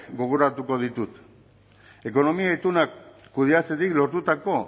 gogoratuko ditut ekonomia ituna kudeatzetik lortutako